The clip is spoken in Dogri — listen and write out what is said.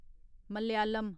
मलयालम